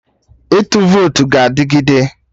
Ịtụ votu ga adịgide